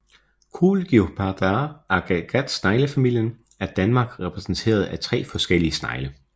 Cochlicopidae agatsneglefamilien er i Danmark repræsenteret af 3 forskellige snegle